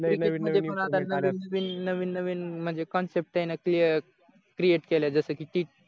नवीन नवीन म्हणजे कॉनसेप्ट आहे ना क्लिअ क्रिएट केल्या जसं कि टी